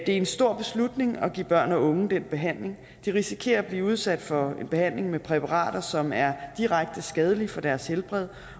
er en stor beslutning at give børn og unge den behandling de risikerer at blive udsat for en behandling med præparater som er direkte skadelige for deres helbred